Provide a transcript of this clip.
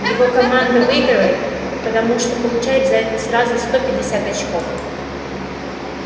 его команда выигрывает потому что получает за это сразу сто пятьдесят очков